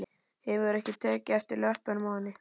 Hefurðu ekki tekið eftir löppunum á henni?